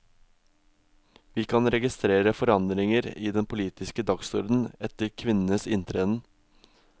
Vi kan registrere forandringer i den politiske dagsorden etter kvinnenes inntreden.